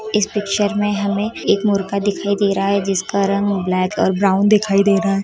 इस पिक्चर में हमें एक मुर्गा दिखाई दे रहा है जिसका रंग ब्लैक और ब्राउन दिखाई दे रहा है।